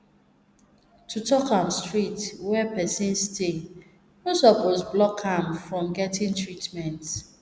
to talk am straight where person stay no suppose block am from getting treatment